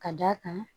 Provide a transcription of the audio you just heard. Ka d'a kan